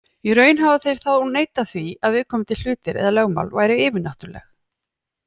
Í raun hafa þeir þá neitað því að viðkomandi hlutir eða lögmál væru yfirnáttúrleg.